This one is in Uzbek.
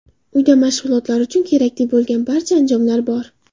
Uyda mashg‘ulotlar uchun kerakli bo‘lgan barcha anjomlar bor.